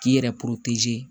K'i yɛrɛ